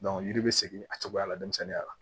yiri bɛ segin a cogoya la denmisɛnninya la